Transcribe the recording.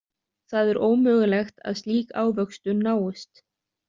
Það er ómögulegt að slík ávöxtun náist.